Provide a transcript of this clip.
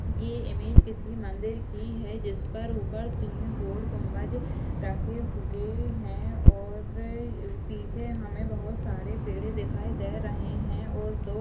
ये इमेज किसी मंदिर की है जिस पर ऊपर तीन गोल गुंबज रखे हुए हैं और पीछे हमें बहुत सारे पेड़े दिखाई दे रहै है और दो --